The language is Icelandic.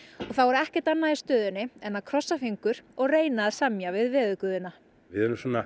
og þá er ekkert annað í stöðunni en að krossa fingur og reyna að semja við veðurguðina við erum svona